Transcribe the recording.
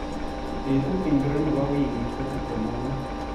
Betut ngiro nebo wiikit ko tuptem ak muut